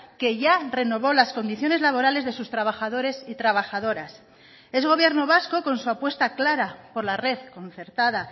que ya renovó las condiciones laborales de sus trabajadores y trabajadoras es gobierno vasco con su apuesta clara por la red concertada